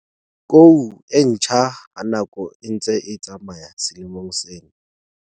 Kou e ntjha ha nako e ntse e tsamaya selemong sena.